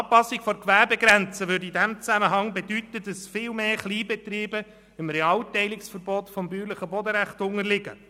Die Anpassung der Gewerbegrenze bedeutete in diesem Zusammenhang, dass viel mehr Kleinbetriebe dem Realteilungsverbot des bäuerlichen Bodenrechts unterlägen.